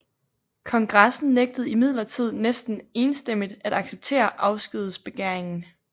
Kongressen nægtede imidlertid næsten enstemmigt at acceptere afskedbegæringen